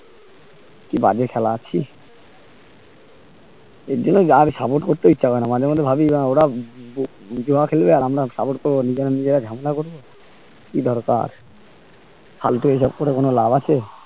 বাজে খেলা ছি আর জন্যে আর support করতে ইচ্ছে করে না মাঝে মধ্যে ভাবি আহ ওরা জুয়া খেলবে আর আমরা support করবো নিজে নিজেরেই ঝামেলা করবো কি দরকার ফালতু এসব করে কোনো লাভ আছে